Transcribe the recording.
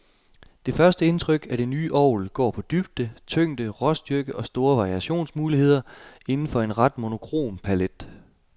Det første indtryk af det nye orgel går på dybde, tyngde, råstyrke og store variationsmuligheder inden for en ret monokrom palet.